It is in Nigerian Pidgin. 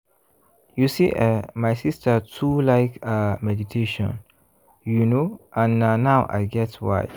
you see eh my sister too like ah meditation you know and na now i get why.